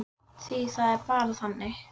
Því það var bara þannig.